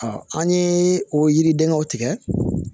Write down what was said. an ye o yiridenw tigɛ